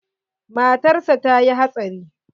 Matar sa ta yi hatsari.